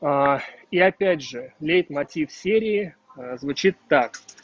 и я опять же лейтмотив серые звучит так